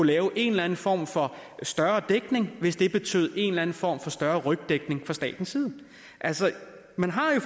lave en eller en form for større dækning hvis det betød en eller anden form for større rygdækning fra statens side man har jo